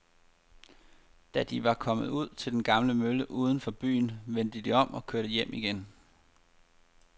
Da de var kommet ud til den gamle mølle uden for byen, vendte de om og kørte hjem igen.